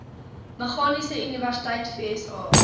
meganiese universiteit vsa